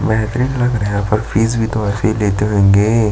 बेहतरीन लग रहा है पर फीस भी तो ऐसे लेते होंगे।